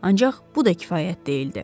Ancaq bu da kifayət deyildi.